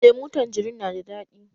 lemu tanjerin na da daɗi